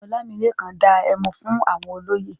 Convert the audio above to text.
Ọlámilékan dá ẹmu fún àwọn olóyè.